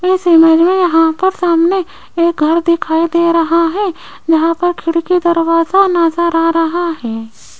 इस इमेज में यहां पर सामने एक घर दिखाई दे रहा है जहां पर खिड़की दरवाजा नजर आ रहा है।